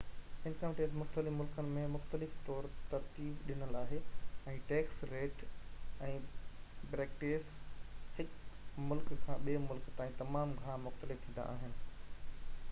income tax مختلف ملڪن ۾ مختلف طور ترتيب ڏنل آهي ۽ ٽيڪس ريٽ ۽ بريڪيٽس هڪ ملڪ کان ٻئي ملڪ تائين تمام گهڻا مختلف ٿيندا آهن